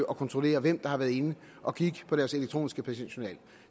og kontrollere hvem der har været inde at kigge på deres elektroniske patientjournal